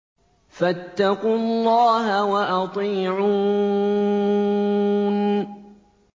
فَاتَّقُوا اللَّهَ وَأَطِيعُونِ